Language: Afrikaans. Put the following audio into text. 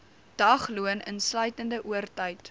dagloon insluitende oortyd